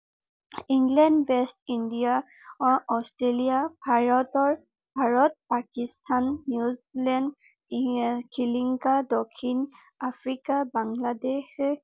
England West India Australia ভাৰতৰ Bharat Pakistan New Zealand দক্ষিন Africa Bangladesh